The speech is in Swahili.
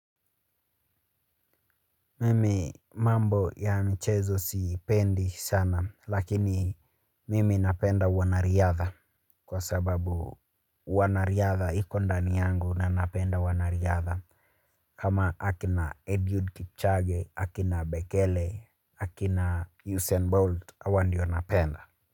Mimi mambo ya michezo sipendi sana lakini mimi napenda wanariadha kwa sababu uwanariadha iko ndani yangu na napenda wanariadha. Kama akina Eliud Kipchoge, akina Bekele, akina Usain Bolt hawa ndio napenda.